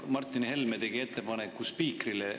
Martin Helme tegi ettepaneku spiikrile.